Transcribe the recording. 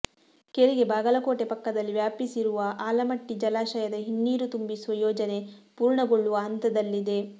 ಕೆರೆಗೆ ಬಾಗಲಕೋಟೆ ಪಕ್ಕ ದಲ್ಲಿ ವ್ಯಾಪಿಸಿರುವ ಆಲಮಟ್ಟಿ ಜಲಾಶ ಯದ ಹಿನ್ನೀರು ತುಂಬಿಸುವ ಯೋಜನೆ ಪೂರ್ಣಗೊಳ್ಳುವ ಹಂತದಲ್ಲಿದೆ